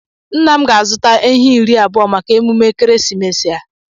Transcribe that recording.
Nna m ga-azụta ehi iri abụọ maka emume ekeresimesi a.